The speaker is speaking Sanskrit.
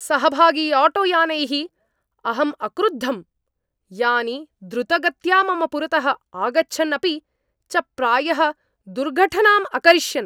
सहभागिआटोयानैः अहम् अक्रुधं, यानि द्रुतगत्या मम पुरतः आगच्छन् अपि च प्रायः दुर्घटनां अकरिष्यन्।